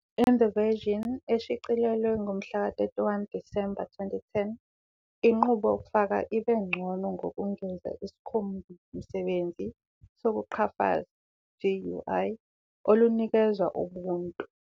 In the version eshicilelwe ngomhlaka 31 December 2010, inqubo yokufaka iye ngcono ngokungeza isikhombimsebenzisi sokuqhafaza, GUI, olunikezwa Ubuntu.